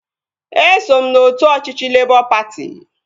Eso m n'otu ọchịchị Lebọ patị